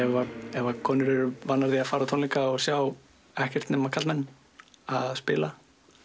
ef að konur eru vanar að fara á tónleika og sjá ekkert nema karlmenn spila